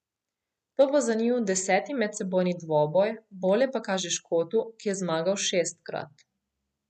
To bo za njiju deseti medsebojni dvoboj, bolje pa kaže Škotu, ki je zmagal šestkrat.